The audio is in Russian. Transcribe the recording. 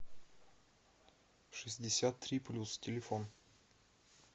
шестьдесят три плюс телефон